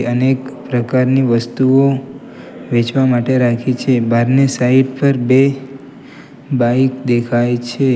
અનેક પ્રકારની વસ્તુઓ વેચવા માટે રાખી છે બહારની સાઈડ પર બે બાઈક દેખાય છે.